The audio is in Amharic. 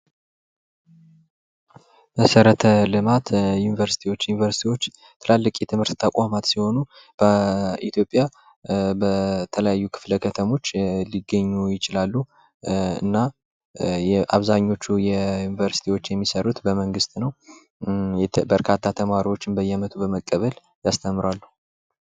መሰረተ ልማት ዮኒቨርስቲዎች ዮኒቨርስቲዎች ትላልቅ የመንግስት ተቋማት ሲሆኑ በኢትዮጵያ በተለያዩ ክፍለ ከተሞች ሊገኙ ይችላሉ እና አብዛኞቹ ዮኒቨርስቲዎች የሚሰሩት በመንግሥት ነው በርካታ ተማሪዎችን በእየ አመቱ በመቀበል ያስተምራሉ።